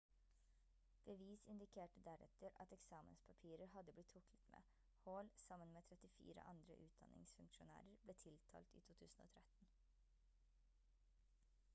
bevis indikerte deretter at eksamenspapirer hadde blitt tuklet med hall sammen med 34 andre utdanningsfunksjonærer ble tiltalt i 2013